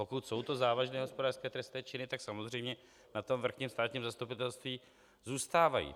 Pokud jsou to závažné hospodářské trestné činy, tak samozřejmě na tom vrchním státním zastupitelství zůstávají.